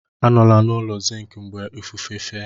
Anọla n'ụlọ zinc mgbe ifufe fe!